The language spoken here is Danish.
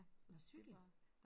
Nåh cykel